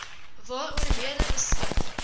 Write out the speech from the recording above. waaroor lede beskik